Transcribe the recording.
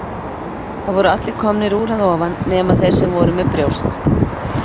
Það voru allir komnir úr að ofan nema þeir sem voru með brjóst.